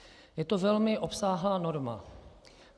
Je to velmi obsáhlá norma.